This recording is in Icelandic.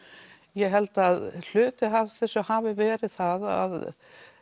ég held að hluti af þessu hafi verið að